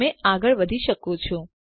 તમે આગળ વધી શકો છો